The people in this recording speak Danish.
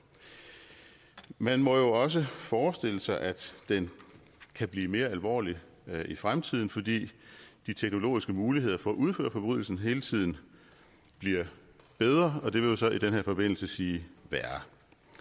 man må jo også forestille sig at den kan blive mere alvorlig i fremtiden fordi de teknologiske muligheder for at udføre forbrydelsen hele tiden bliver bedre og det vil jo så i den her forbindelse sige værre